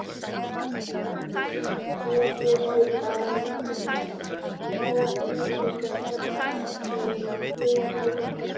Hér getur að líta tvo keimlíka ferðalanga í flughöfn lífsins.